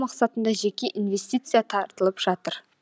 мақсатында жеке инвестиция тартылып жатыр